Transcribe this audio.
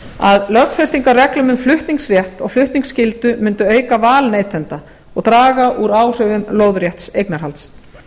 að lögfestingarreglum um flutningsrétt og flutningsskyldu mundu auka val neytenda og draga úr áhrifum lóðrétts eignarhalds